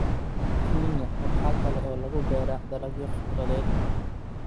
Kenya waxa kale oo lagu beeraa dalagyo khudradeed.